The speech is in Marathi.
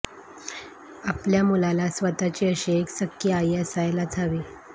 आपल्या मुलाला स्वतःची अशी एक सख्खी आई असायलाच हवी